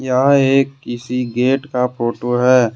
यहां एक किसी गेट का फोटो है।